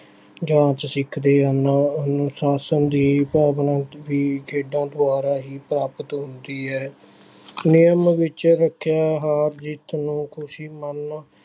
ਜਾਂਚ ਸਿੱਖਦੇ ਹਨ, ਅਨੁਸਾਸ਼ਨ ਦੀ ਭਾਵਨਾ ਵੀ ਖੇਡਾਂ ਦੁਆਰਾ ਹੀ ਪ੍ਰਾਪਤ ਹੁੰਦੀ ਹੈ, ਨਿਯਮ ਵਿੱਚ ਰੱਖਿਆ ਹਾਂ ਨੂੰ ਖ਼ੁਸ਼ੀ ਮੰਨ